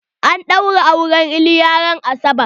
An ɗaura auren iliya ran asabar.